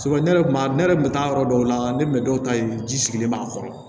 ne yɛrɛ kun b'a ne yɛrɛ kun bɛ taa yɔrɔ dɔw la ne bɛ dɔw ta yen ji sigilen b'a kɔrɔ